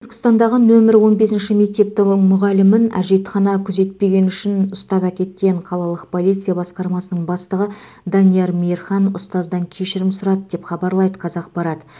түркістандағы нөмірі он бесінші мектептің мұғалімін әжетхана күзетпегені үшін ұстап әкеткен қалалық полиция басқармасының бастығы данияр мейірхан ұстаздан кешірім сұрады деп хабарлайды қазақпарат